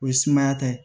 O ye sumaya ta ye